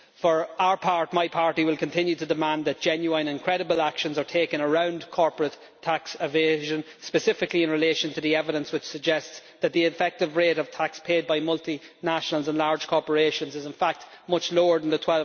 For our part, my party will continue to demand that genuine and credible actions are taken around corporate tax evasion, specifically in relation to the evidence which suggests that the effective rate of tax paid by multinationals and large corporations is in fact much lower than the